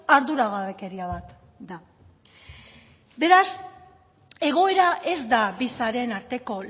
arduragabekeria bat da beraz egoera ez da bi sareen arteko